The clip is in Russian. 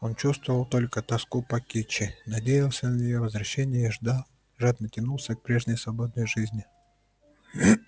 он чувствовал только тоску по кичи надеялся на её возвращение и ждал жадно тянулся к прежней свободной жизни